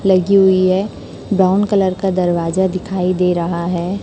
लगी हुई है ब्राउन कलर का दरवाजा दिखाई दे रहा है।